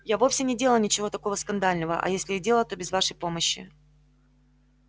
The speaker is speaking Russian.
я вовсе не делала ничего такого скандального а если и делала то без вашей помощи